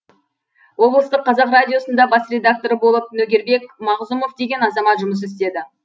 облыстық қазақ радиосында бас редакторы болып нөгербек мағзұмов деген азамат жұмыс істеді